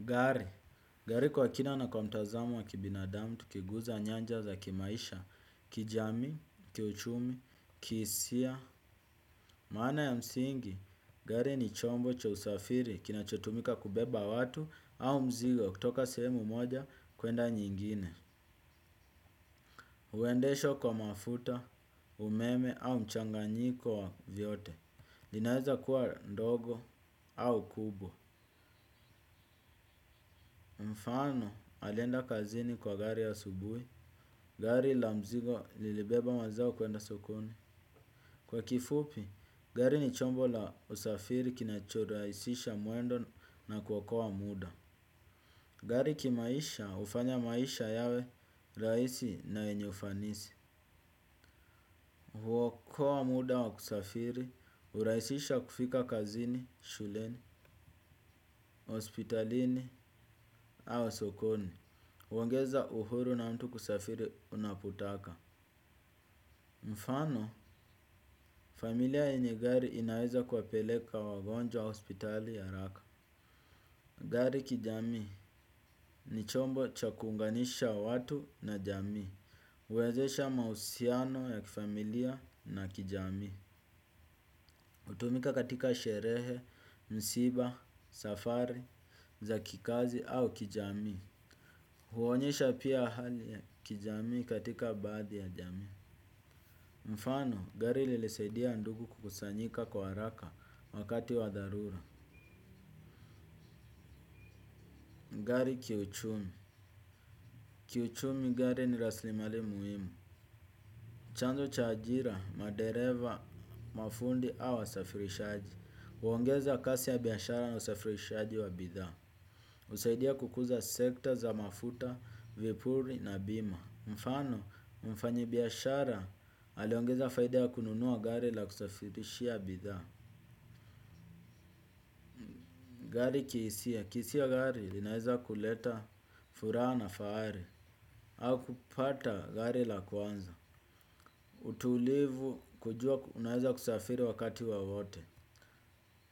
Gari, gari kwa kina na kwa mtazamo wa kibinadamu tukiguza nyanja za kimaisha, kijamii, kiuchumi, kihisia. Maana ya msingi, gari ni chombo cha usafiri kinachotumika kubeba watu au mzigo kutoka sehemu moja kwenda nyingine. Huendeshwa kwa mafuta, umeme au mchanganyiko wa vyote. Linaweza kuwa ndogo au kubwa. Mfano alienda kazini kwa gari asubuhi. Gari la mzigo lilibeba mazao kwenda sokoni. Kwa kifupi, gari ni chombo la usafiri kinacho rahisisha mwendo na kuokoa muda. Gari kimaisha hufanya maisha yawe rahisi na wenye ufanisi. Huokoa muda wa kusafiri, hurahisisha kufika kazini, shuleni, hospitalini, au sokoni huongeza uhuru na mtu kusafiri unapotaka. Mfano, familia yenye gari inaweza kuwapeleka wagonjwa hospitali haraka. Gari kijamii ni chombo cha kuunganisha watu na jamii. Huwezesha mahusiano ya kifamilia na kijamii. Hutumika katika sherehe, msiba, safari, za kikazi au kijamii. Huonyesha pia hali ya kijamii katika baadhi ya jamii. Mfano gari lilisaidia ndugu kukusanyika kwa haraka wakati wa dharura. Gari kiuchumi. Kiuchumi gari ni rasilimali muhimu. Chanzo cha ajira madereva mafundi au wasafirishaji huongeza kasi ya biashara na usafirishaji wa bidhaa husaidia kukuza sekta za mafuta, vipuri na bima. Mfano mfanyi biashara aliongeza faida ya kununua gari la kusafirishia bidhaa. Gari kihisia. Kihisia gari linaeza kuleta furaha na fahari au kupata gari la kwanza. Utulivu kujua unaeza kusafiri wakati wowote.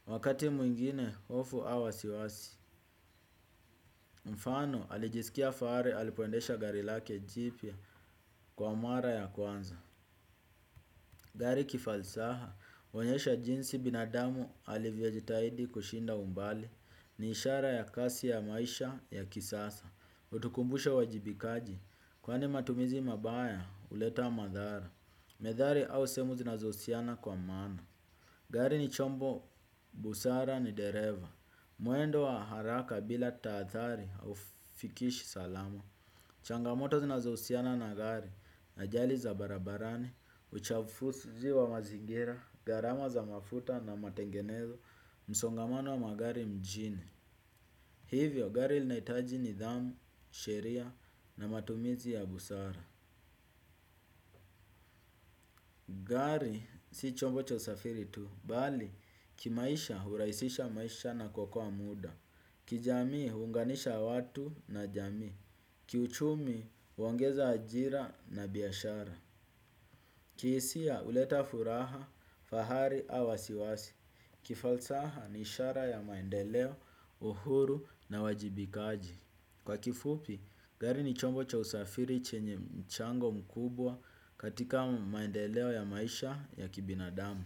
Wakati mwingine hofu au wasiwasi. Mfano alijisikia fahari alipoendesha gari lake jipya kwa mara ya kwanza. Gari kifalsaha, huonyesha jinsi binadamu alivyojitahidi kushinda umbali ni ishara ya kasi ya maisha ya kisasa. Hutukumbusha uwajibikaji. Kwani matumizi mabaya huleta madhara. Methali au semo zinazohusiana kwa maana. Gari ni chombo. Busara ni dereva. Mwendo wa haraka bila taathari haufikishi salama. Changamoto zinazohusiana na gari ajali za barabarani. Uchafuzi wa mazingira. Garama za mafuta na matengenezo. Msongamano wa magari mjini. Hivyo gari linaitaji nidhamu. Sheria na matumizi ya busara. Gari si chombo cha usafiri tu bali kimaisha hurahisisha maisha na kuokoa muda. Kijamii huunganisha watu na jamii. Kiuchumi huongeza ajira na biashara. Kihisia huleta furaha, fahari au wasiwasi. Kifalsaha ni ishara ya maendeleo, uhuru na wajibikaji. Kwa kifupi gari ni chombo cha usafiri chenye mchango mkubwa katika maendeleo ya maisha ya kibinadamu.